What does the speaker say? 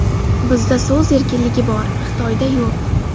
Bizda so‘z erkinligi bor, Xitoyda yo‘q.